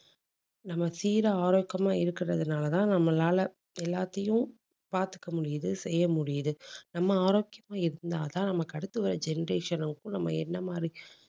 நம்ம சீரா ஆரோக்கியமா இருக்கிறதுனால தான் நம்மளால எல்லாத்தையும் பாத்துக்க முடியுது. செய்ய முடியுது நம்ம ஆரோக்கியமா இருந்தா தான் நமக்கு அடுத்து வர generation க்கும் நம்ம என்ன மாதிரி